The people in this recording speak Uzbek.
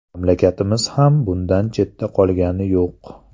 Mamlakatimiz ham bundan chetda qolgani yo‘q.